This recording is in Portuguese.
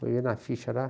Foi ver na ficha lá.